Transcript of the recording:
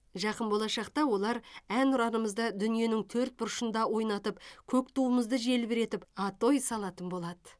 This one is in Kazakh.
жақын болашақта олар әнұранымызды дүниенің төрт бұрышында ойнатып көк туымызды желбіретіп атой салатын болады